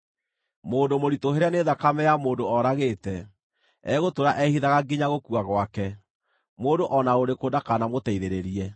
Mũndũ mũritũhĩre nĩ thakame ya mũndũ ooragĩte, egũtũũra ehithaga nginya gũkua gwake; mũndũ o na ũrĩkũ ndakanamũteithĩrĩrie.